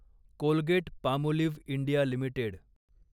Colgate Palmolive India limited